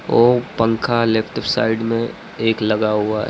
वो पंखा left side में एक लगा हुआ है।